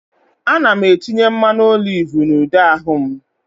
Ana m etinye mmanụ oliv na ude ahụ m